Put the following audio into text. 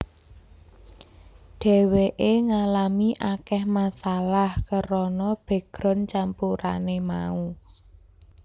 Dheweké ngalami akeh masalah kerana background campurané mau